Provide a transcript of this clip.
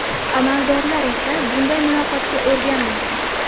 Amaldorlar esa bunday muloqotga o‘rganmagan.